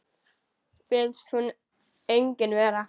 Finnst hún engin vera.